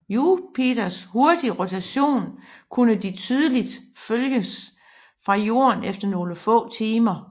Jupiters hurtige rotation kunne de tydeligt følges fra Jorden efter nogle få timer